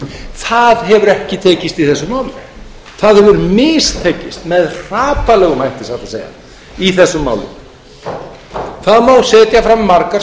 það hefur ekki tekist í þessu máli það hefur satt best að segja mistekist hrapallega það má setja fram margar